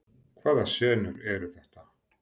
Hvaða senur eru þetta?